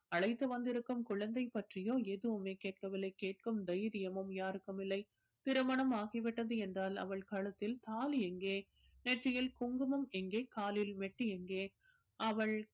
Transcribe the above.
அழைத்து வந்திருக்கும் குழந்தை பற்றியோ எதுவுமே கேட்கவில்லை கேட்கும் தைரியமும் யாருக்கும் இல்லை திருமணம் ஆகி விட்டது என்றால் அவள் கழுத்தில் தாலி எங்கே நெற்றியில் குங்குமம் எங்கே காலில் மெட்டி எங்கே? அவள்